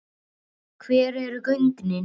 Hver eru gögnin?